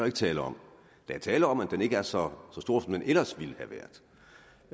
ikke tale om der er tale om at den ikke er så stor som den ellers ville